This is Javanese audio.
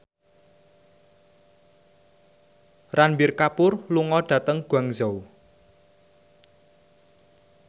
Ranbir Kapoor lunga dhateng Guangzhou